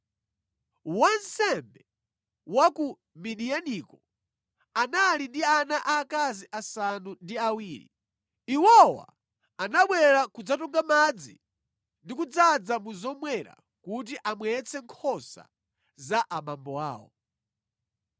Wansembe wa ku Midiyaniko anali ndi ana aakazi asanu ndi awiri. Iwowa anabwera kudzatunga madzi ndi kudzaza mu zomwera kuti amwetse nkhosa za abambo awo.